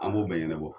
An b'o bɛɛ ɲɛnabɔ